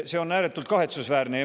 See on ääretult kahetsusväärne.